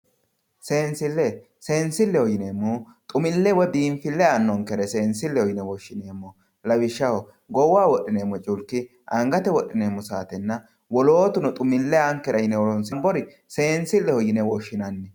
Seensile, seensileho yineemmohu xumile woyi biinfile aanonkere seensileho yinne woshshineemmo lawishshaho goowaho wodhineemmo culki angate wodhineemmo saatenna wolootuno xumile aankera yinne horonsi'neemmore seensileho yinne woshshinanni.